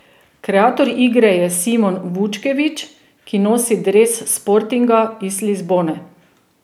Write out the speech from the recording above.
Kreator igre je Simon Vukčević, ki nosi dres Sportinga iz Lizbone.